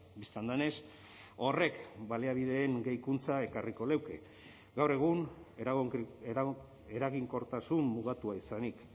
bistan denez horrek baliabideen gehikuntza ekarriko luke gaur egun eraginkortasun mugatua izanik